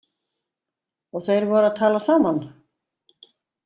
Og þeir voru að tala saman?